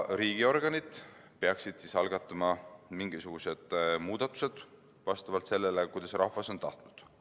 Riigiorganid peaksid algatama mingisugused muudatused vastavalt sellele, kuidas rahvas on tahtnud.